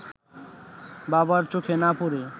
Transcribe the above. বাবার চোখে না পড়ে